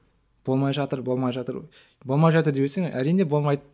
болмай жатыр болмай жатыр болмай жатыр дей берсең әрине болмайды